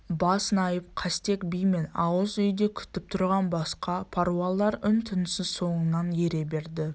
бас найп қастек би мен ауыз үйде күтіп тұрған басқа паруалар үн-түнсіз соңынан ере берді